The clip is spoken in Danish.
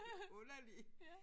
Underlig